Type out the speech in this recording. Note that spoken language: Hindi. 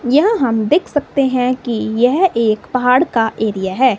यह हम देख सकते हैं की यह एक पहाड़ का एरिया है।